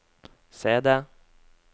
CD